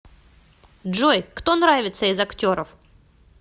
джой кто нравится из актеров